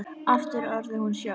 Aftur orðin hún sjálf.